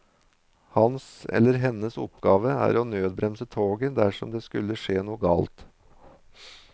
Hans eller hennes oppgave er å nødbremse toget dersom det skulle skje noe galt.